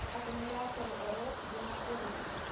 аккумуляторырф где находится